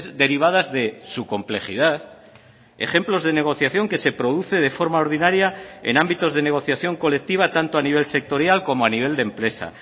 derivadas de su complejidad ejemplos de negociación que se produce de forma ordinaria en ámbitos de negociación colectiva tanto a nivel sectorial como a nivel de empresa